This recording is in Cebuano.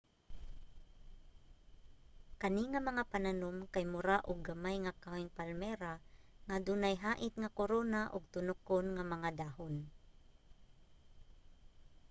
kani nga mga pananom kay mura uo gamay nga kahoyng palmera nga adunay hait nga korona ug tunokon nga mga dahon